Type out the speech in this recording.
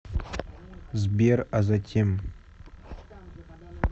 сбер а затем